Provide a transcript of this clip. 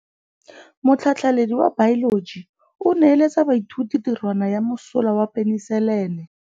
Motlhatlhaledi wa baeloji o neela baithuti tirwana ya mosola wa peniselene.